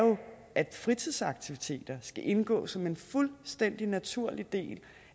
at fritidsaktiviteter skal indgå som en fuldstændig naturlig del